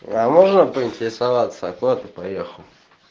а можно поинтересоваться куда ты поехал